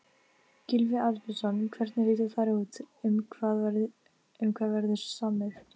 Gylfi Arnbjörnsson, hvernig líta þær út, um hvað verður samið?